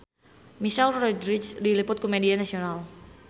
Michelle Rodriguez diliput ku media nasional